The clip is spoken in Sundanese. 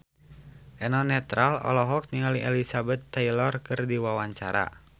Eno Netral olohok ningali Elizabeth Taylor keur diwawancara